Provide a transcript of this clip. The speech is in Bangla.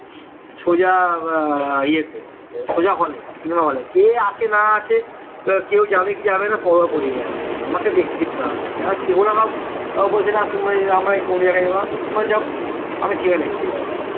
সোজা ইয়েতে সোজা হলে cinema hall এ কে আছে না আছে কেউ যাবে কি যাবেনা পরোয়া করিনা আমি আমাকে দেখতে হবে কেন না কেউ না হোক বলছিলাম আমরা একটু অন্য জায়গায় যাব তোমরা যাও আমি cinema দেখতে যাব